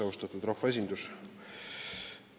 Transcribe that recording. Austatud rahvaesindus!